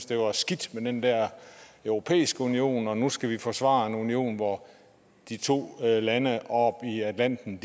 det var skidt med den europæiske union og nu skal vi forsvare en union hvor de to lande oppe i atlanten